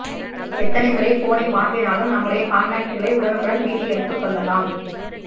எத்தனை முறை போனை மாற்றினாலும் நம்முடைய கான்டாக்ட்களை உடனுக்குடன் மீட்டு எடுத்துக்கொள்ளலாம்